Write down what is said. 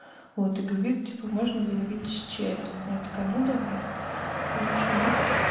вот и говорит типа можно заварить с чаем я такая ну давай в общем